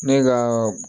Ne ka